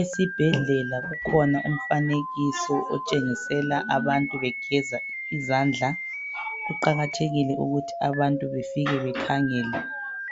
Esibhedlela kukhona umfanekiso otshengisela abantu begeza izandla kuqakathekile ukuthi abantu befike bekhangele